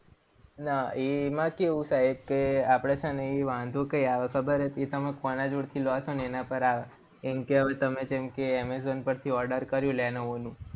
ના એમાં કેવું સાહેબ કે આપણે છે ને એ વાંધો કાઈ આવે ખબર છે? એ તમે કોના જોડેથી લો છો? એના પર આવે. કેમ કે, હવે તમે જેમ કે amazon પરથી order કર્યું લેનોવો નું.